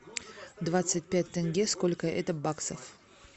двадцать пять тенге сколько это баксов